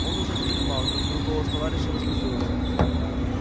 он уже задремал как вдруг голос товарища разбудил его